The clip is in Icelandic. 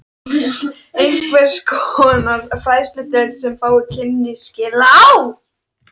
Einhvers konar fræðsludeild, sem fáir kynnu skil á.